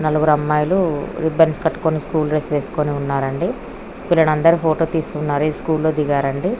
నలుగురు అమ్మాయిలు రిబ్బన్స్ కట్టుకొని స్కూల్ డ్రెస్ వేసుకొని ఉన్నారు అండి. వీళ్ళనందరిని ఫోటో తీస్తున్నారు ఇది స్కూల్ లో దిగారండీ.